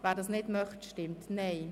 wer dies nicht möchte, stimmt Nein.